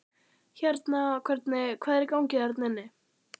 Hérna hvernig, hvað er í gangi þarna inni?